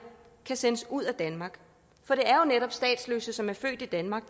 kan sendes ud af danmark for det er jo netop statsløse som er født i danmark